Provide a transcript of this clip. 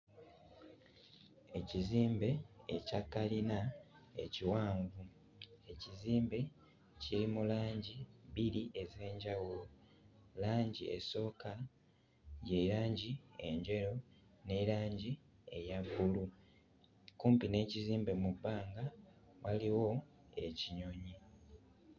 Ekizimbe ekya kkalina ekiwanvu, ekizimbe kiri mu langi bbiri ez'enjawulo, langi esooka ye langi enjeru ne langi eya bbulu, kumpi n'ekizimbe mu bbanga waliwo ekinyonyi.